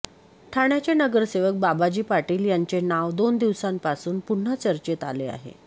ठाण्याचे नगरसेवक बाबाजी पाटील यांचे नाव दोन दिवसांपासून पुन्हा चर्चेत आले आहे